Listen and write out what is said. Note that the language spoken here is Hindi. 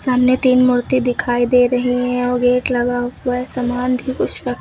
सामने तीन मूर्ति दिखाई दे रही हैं और गेट लगा हुआ है। सामान भी कुछ रख --